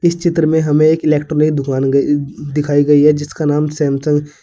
चित्र में हमें इलेक्ट्रॉनिक दुकान दिखाई गई है जिसका नाम सैमसंग --